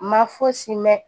Ma fosi mɛn